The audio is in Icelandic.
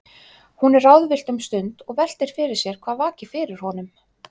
Hún er ráðvillt um stund og veltir fyrir sér hvað vaki fyrir honum.